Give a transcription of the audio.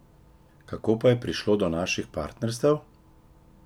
Kako pa je prišlo do naših partnerstev?